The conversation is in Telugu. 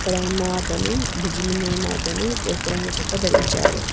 ఇక్కడ ఉన్న అతను బ్రిడ్జ్ మీద ఉన్న అతడు ఎరుపు రంగు చొక్కా ధరించారు.